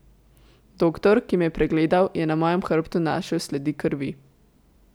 Doktor, ki me je pregledal, je na mojem hrbtu našel sledi krvi.